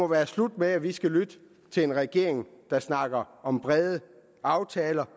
være slut med at vi skal lytte til en regering der snakker om brede aftaler